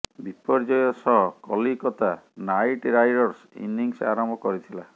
ବିପର୍ଯ୍ୟୟ ସହ Kolkata Knight Riders innings ଆରମ୍ଭ କରିଥିଲା